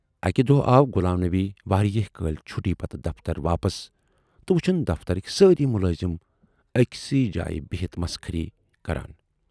اکہِ دۅہہ آو غلام نبی واریاہہِ کٲلۍ چھُٹی پتہٕ دفتر واپس تہٕ وُچھِن دفترٕکۍ سٲری مُلٲزِم ٲکۍسٕے جایہِ بِہِتھ مسخٔری کران۔